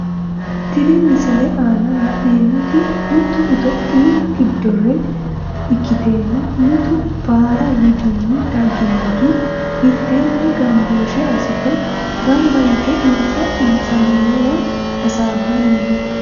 Tini misilete aana la`neemoti mitu ethyophiyu gidore ikitena mittu baara widini daginori miteeni ganbooshe asite ganba yite insa insaneewa hasabani no.